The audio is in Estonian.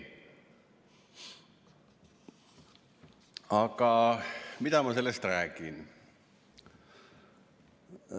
Aga mis ma sellest räägin?